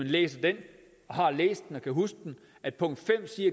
læser den og har læst den og kan huske den at punkt fem